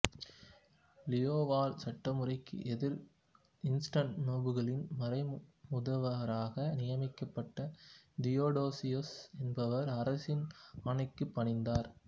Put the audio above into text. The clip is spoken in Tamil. லியோவால் சட்டமுறைக்கு எதிராககாண்ஸ்டாண்டிநோபுளின் மறைமுதுவராக நியமிக்கப்பட்ட தியோடோசியுஸ் என்பவர் அரசனின் ஆணைக்குப் பணிந்தார்